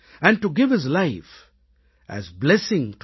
and to give his life as blessing